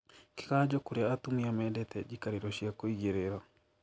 Kĩganjo kũrĩa atumia mendete njikarĩro cia kũigĩrĩra